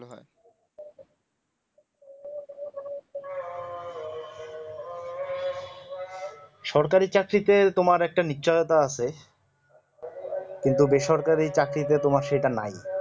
সরকারি চাকরিতে তোমার একটা নিচাও বা আছে কিন্তু বেসরকারি চাকরিতে তোমার সেটা নাই